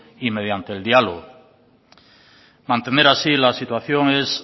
y mediante el diálogo mantener así la situación es